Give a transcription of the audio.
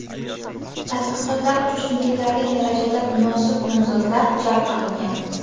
Tadqiqotlar uchun yetarli darajada munosib nomzodlar jalb qilingan.